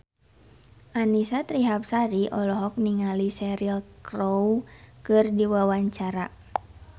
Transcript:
Annisa Trihapsari olohok ningali Cheryl Crow keur diwawancara